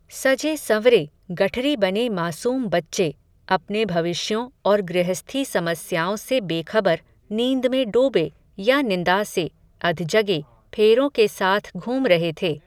सजे संवरे, गठरी बने मासूम बच्चे, अपने भविष्यों और गृहस्थी समस्याओं से बेखबर, नींद में डूबे, या निंदासे, अधजगे, फेरों के साथ घूम रहे थे